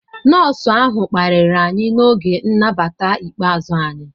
Nọọsụ ahụ kparịrị anyị n'oge nnabata ikpeazụ anyị.